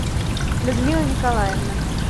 людмила николаевна